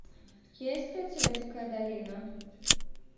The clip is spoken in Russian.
есть ли у тебя дикая долина